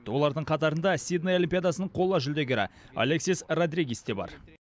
олардың қатарында сидней олимпиадасының қола жүлдегері алексис родригес те бар